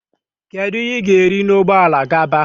Kedu ihe ga eri na Ụgbọelu gaba?